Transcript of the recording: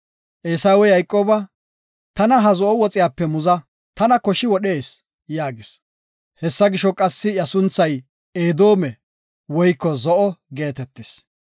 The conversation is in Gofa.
Eesawey Yayqooba, “Tana ha zo7o woxiyape muza, tana koshi wodhees” yaagis. (Hessa gisho, qassi iya sunthay Edoome (Zo7o) geetetis).